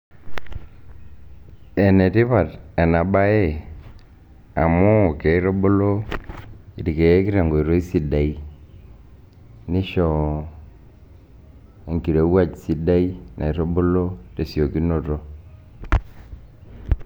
Ene tipat ena siai amu kitubulu irkeek tenkoitoi sidai nisho enkirowuaj sidai naitubulu tesiokinoto.